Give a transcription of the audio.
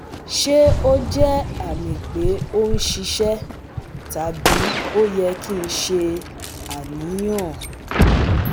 Ṣe o jẹ ami pe o n ṣiṣẹ tabi o yẹ ki n ṣe aniyan?